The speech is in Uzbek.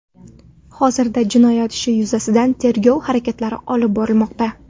Hozirda jinoyat ishi yuzasidan tergov harakatlari olib borilmoqda.